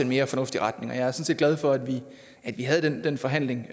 mere fornuftig retning jeg er sådan set glad for at vi havde den forhandling